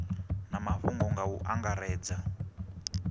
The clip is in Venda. na mafhungo nga u angaredza